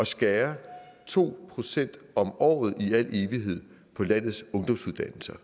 skære to procent om året i al evighed på landets ungdomsuddannelser